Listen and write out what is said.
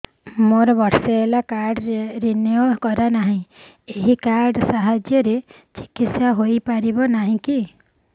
ମୋର ବର୍ଷେ ହେଲା କାର୍ଡ ରିନିଓ କରିନାହିଁ ଏହି କାର୍ଡ ସାହାଯ୍ୟରେ ଚିକିସୟା ହୈ ପାରିବନାହିଁ କି